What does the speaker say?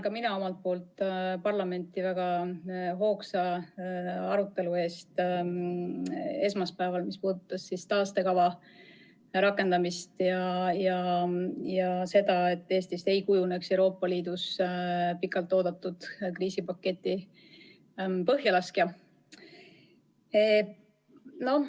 Ka mina tänan parlamenti väga hoogsa esmaspäevase arutelu eest, mis puudutas taastekava rakendamist ja seda, et Eestist ei kujuneks Euroopa Liidus pikalt oodatud kriisipaketi põhjalaskjat.